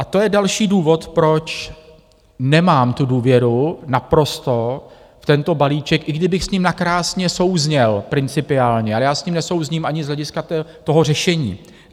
A to je další důvod, proč nemám tu důvěru naprosto v tento balíček, i kdybych s ním nakrásně souzněl principiálně, ale já s ním nesouzním ani z hlediska toho řešení.